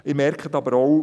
Sie bemerken aber auch: